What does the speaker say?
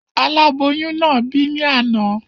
Aláboyún náà bì ní àná